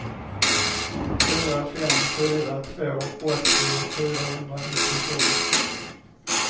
fyra fem fyra två åttio fyrahundranittiosju